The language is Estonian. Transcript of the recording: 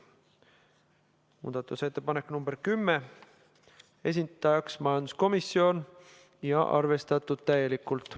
Muudatusettepanek nr 10, esitajaks majanduskomisjon ja arvestatud täielikult.